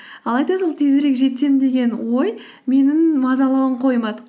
алайда сол тезірек жетсем деген ой менің мазалауын қоймады